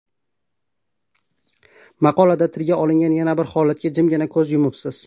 Maqolada tilga olingan yana bir holatga jimgina ko‘z yumibsiz.